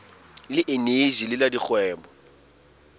le eneji le la dikgwebo